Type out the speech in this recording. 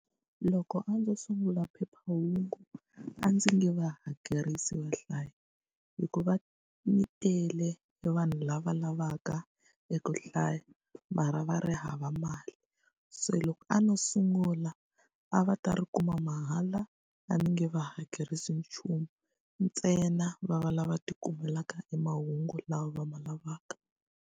Loko a ndzo sungula phephahungu, a ndzi nge va hakerisi vahlayi. Hikuva mi tele e vanhu lava lavaka eku hlaya, mara va ri hava mali. Se loko a no sungula, a va ta ri kuma mahala a ni nge va hakerisi nchumu. Ntsena va va lava tikumelaka e mahungu lawa va ma lavaka.